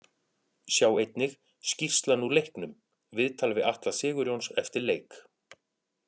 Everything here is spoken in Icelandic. Sjá einnig: Skýrslan úr leiknum Viðtal við Atla Sigurjóns eftir leik